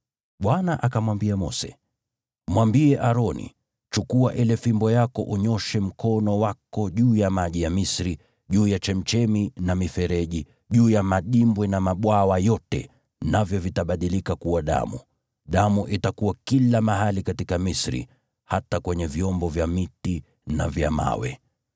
Bwana akamwambia Mose, “Mwambie Aroni, ‘Chukua ile fimbo yako unyooshe mkono wako juu ya maji ya Misri, juu ya chemchemi na mifereji, juu ya madimbwi na mabwawa yote,’ navyo vitabadilika kuwa damu. Damu itakuwa kila mahali katika Misri, hata kwenye vyombo vya miti na vya mawe.”